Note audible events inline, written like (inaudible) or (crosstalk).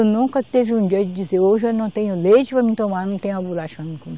Nunca teve um dia de dizer, hoje eu não tenho leite para mim tomar, não tenho a bolacha (unintelligible)